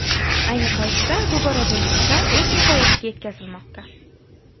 Ayni paytda bu boradagi ishlar o‘z nihoyasiga yetkazilmoqda.